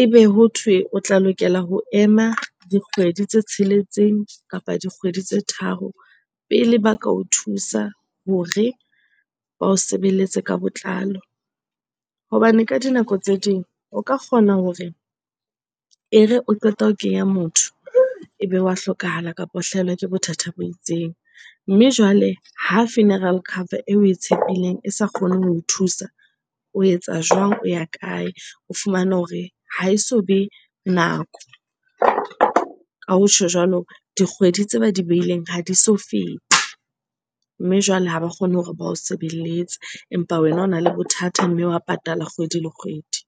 ebe hothwe o tla lokela ho ema dikgwedi tse tsheletseng kapa dikgwedi tse tharo pele ba ka o thusa hore ba o sebeletse ka botlalo. Hobane ka dinako tse ding o ka kgona hore e re o qeta ho kenya motho ebe wa hlokahala kapa o hlahelwa ke bothata bo itseng. Mme jwale ha funeral cover eo we e tshepileng e sa kgone ho o thusa o etsa jwang? O ya kae? O fumane hore ha eso be nako. Ka ho tjho jwalo, dikgwedi tse ba di behileng ha di so fete. Mme jwale ha ba kgone hore ba o sebeletse, empa wena ona le bothata mme wa patala kgwedi le kgwedi.